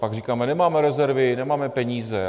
Pak říkáme - nemáme rezervy, nemáme peníze.